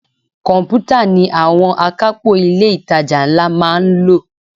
Komputa ni àwọn akapo ilé itàjà ńlá máa ń lò.